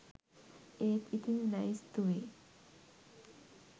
ඒත් ඉතිං ලැයිස්තුවේ